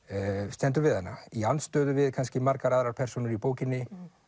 stendur við hana í andstöðu við kannski margar aðrar persónur í bókinni